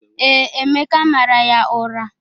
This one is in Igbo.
Ee, Emeka mara ya ụra.